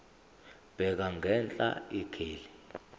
bheka ngenhla ikheli